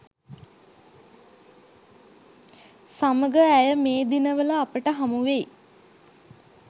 සමග ඇය මේ දිනවල අපට හමුවෙයි.